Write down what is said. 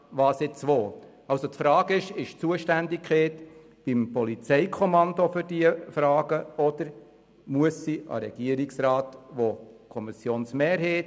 Die Frage lautet: Soll die Zuständigkeit für diese Fragen beim Polizeikommando oder beim Regierungsrat sein?